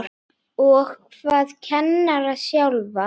Og hvað kennara sjálfa?